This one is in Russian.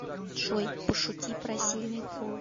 джой пошути про сильный пол